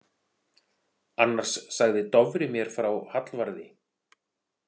Annars sagði Dofri mér frá Hallvarði.